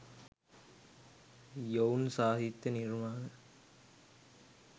යොවුන් සාහිත්‍ය නිර්මාණ